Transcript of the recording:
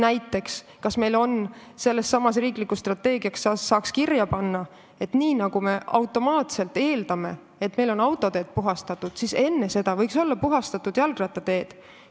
Me saaks sellessesamasse riiklikusse strateegiasse kirja panna, et nagu me automaatselt eeldame, et meil on autoteed puhastatud, võiks enne neid olla puhastatud ka jalgrattateed.